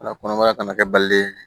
La kɔnɔbara kana kɛ balolen ye